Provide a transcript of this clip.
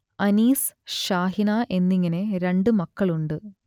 അനീസ് ഷാഹിന എന്നിങ്ങനെ രണ്ട് മക്കളുണ്ട്